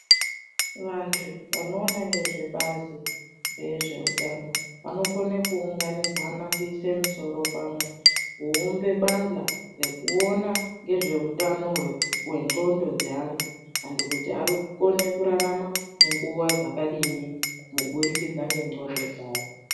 Vantu vanoona ngezvebazi rezveutano vanokone kuunganidzana kuise misoro pamwe kuumbe bandhla rekuona ngezveutano hwenxlondo dzeanhu, antu kuti arikukone kurarama zvakadini kubudikidza ngenxlondo dzawo.